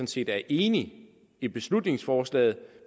set er enig i beslutningsforslaget